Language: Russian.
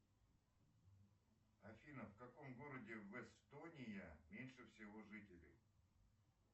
афина в каком городе в эстония меньше всего жителей